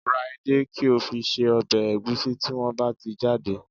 Ra edé, kí o fi se ọbẹ̀ ẹ̀gúsí tí wọ́n bá ti jáde